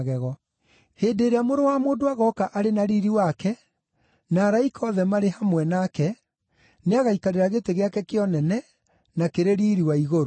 “Hĩndĩ ĩrĩa Mũrũ wa Mũndũ agooka arĩ na riiri wake, na araika othe marĩ hamwe nake, nĩagaikarĩra gĩtĩ gĩake kĩa ũnene na kĩrĩ riiri wa igũrũ.